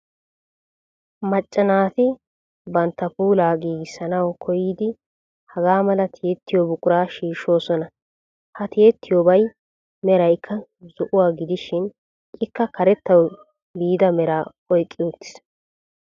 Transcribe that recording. Macca naati banttaa puulaa giigissanawu kooyidi hagaa mala tiyettiyoo buquraa shiishoosona. Ha tiyettiyoobaa meraykka zo"ouwaa gidishin ikka karettawu biida meraa oyqqi uttiis.